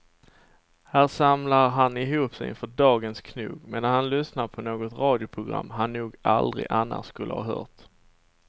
Här samlar han ihop sig inför dagens knog medan han lyssnar på något radioprogram han nog aldrig annars skulle ha hört.